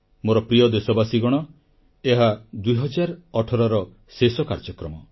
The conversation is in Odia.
ମୋର ପ୍ରିୟ ଦେଶବାସୀଗଣ ଏହା 2018ର ଶେଷ କାର୍ଯ୍ୟକ୍ରମ